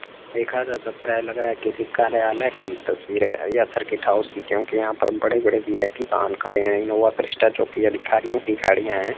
देखा जा सकता है लग रहा है किसी कार्यालय की तस्वीर है या सर्किट हाउस की क्योंकि यहां पर बड़े-बड़े वी_आई_पी वाहन खड़े हैं इनोवा क्रिस्टा चौकी अधिकारियों की गाड़ियां हैं।